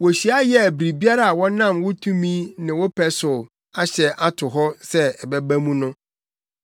Wohyia yɛɛ biribiara a wonam wo tumi ne wo pɛ so ahyɛ ato hɔ sɛ ɛbɛba mu no.